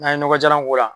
N'an ye nɔgɔ jalan k'o la